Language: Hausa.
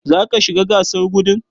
Zaka shiga gasar gudun?